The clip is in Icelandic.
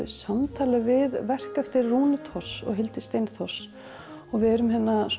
samtali við verk eftir Rúnu Thors og Hildi Steinþórs við erum